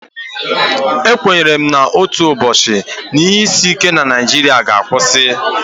Ekwenyere m na otu ụbọchị, ihe isi ike na Naijiria ga-akwụsị.